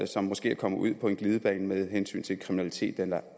som måske er kommet ud på en glidebane med hensyn til kriminalitet eller